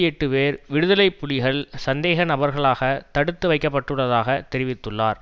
எட்டு பேர் விடுதலை புலிகள் சந்தேக நபர்களாக தடுத்து வைக்க பட்டுள்ளதாக தெரிவித்துள்ளார்